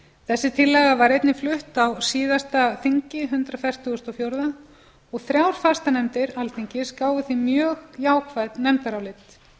þessi tillaga var einnig flutt á síðasta þingi hundrað fertugasta og fjórða þingi og þrjár fastanefndir alþingis gáfu því mjög jákvæð nefndarálit